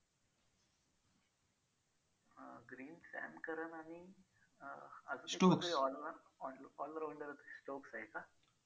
Green, some currant आणि अं all rounder stokes आहे का?